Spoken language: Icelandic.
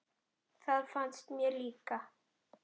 Það finnst mér líka.